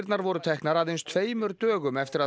voru teknar aðeins tveimur dögum eftir að